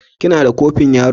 Kina da kofin yaro?